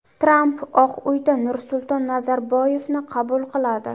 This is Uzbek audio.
Tramp Oq uyda Nursulton Nazarboyevni qabul qiladi.